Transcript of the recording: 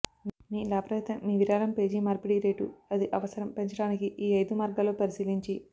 మీ లాభరహిత మీ విరాళం పేజీ మార్పిడి రేటు అది అవసరం పెంచడానికి ఈ ఐదు మార్గాల్లో పరిశీలించి